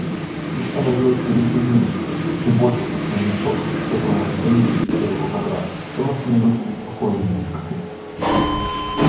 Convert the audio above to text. их становилось все меньше и меньше и чем больше пустел мешок в котором они хранились у серого бобра тем он становился беспокойнее